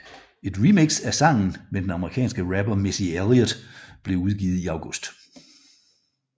Et remix af sangen med den amerikanske rapper Missy Elliot blev udgivet i august